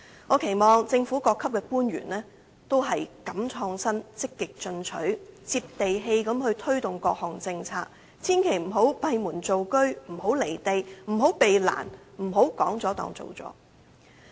我期望政府各級官員都敢於創新、積極進取、"接地氣"地推動各項政策，千萬不要閉門造車，不要"離地"，不要避難，不要說了便當做了。